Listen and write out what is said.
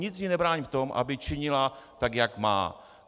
Nic jí nebrání v tom, aby činila tak, jak má.